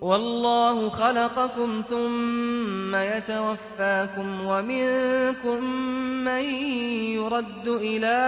وَاللَّهُ خَلَقَكُمْ ثُمَّ يَتَوَفَّاكُمْ ۚ وَمِنكُم مَّن يُرَدُّ إِلَىٰ